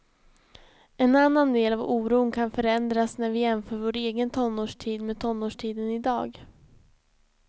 En annan del av oron kan förändras när vi jämför vår egen tonårstid med tonårstiden idag.